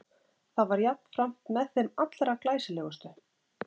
Það var jafnframt með þeim allra glæsilegustu.